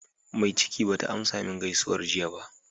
Mai ciki bata amsa min gaisuwar jiya ba.